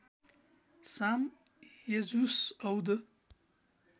साम यजुस् औद